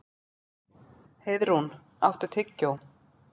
Heiðrún, áttu tyggjó?